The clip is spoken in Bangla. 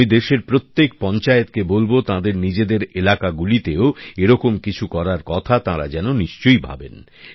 আমি দেশের প্রত্যেক পঞ্চায়েত কে বলব তাঁদের নিজেদের এলাকাগুলিতেও এরকম কিছু করার কথা তাঁরা যেন নিশ্চই ভাবেন